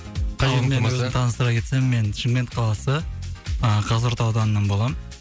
қауыммен өзімді таныстыра кетсем мен шымкент қаласы ы қазығұрт ауданынан боламын